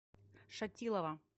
шатилова